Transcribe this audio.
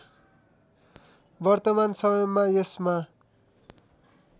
वर्तमान समयमा यसमा